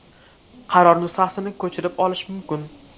Qaror nusxasini ko‘chirib olish mumkin.